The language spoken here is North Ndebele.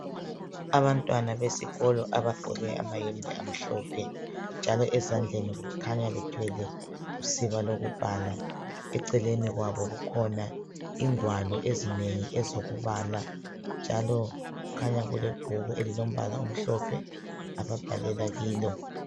Abantwana besikolo abagqoke amayembe amhlophe njalo ezandleni kukhanya bethwele usiba lokubhala. Eceleni kwabo kukhona ingwalo ezinengi ezokubala njalo kukhanya kulebhuku elilombala omhlophe ababhalela kilo.